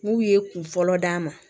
N'u ye kun fɔlɔ d'a ma